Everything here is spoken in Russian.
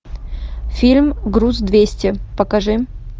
фильм груз двести покажи